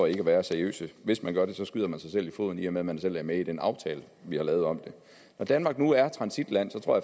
ikke er seriøse hvis man gør det skyder man sig selv i foden i og med at man selv er med i den aftale vi har lavet om det når danmark nu er transitland tror